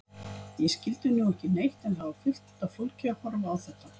Ég skildi nú ekki neitt en það var fullt af fólki að horfa á þetta.